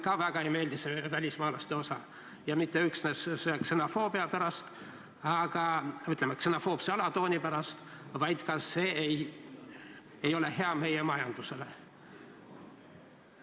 Ka mulle see välismaalaste osa väga ei meeldi – mitte üksnes ksenofoobse alatooni pärast, vaid ka sellepärast, et see ei ole hea meie majandusele.